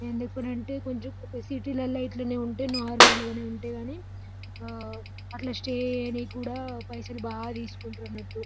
ఎందుకంటే సిటీలలో ఇట్లనే ఉంటే నార్మల్గానే ఉంటది గాని అట్లా స్టే చేయడానికి కూడా పైసలు బాగా తీసుకుంటారు.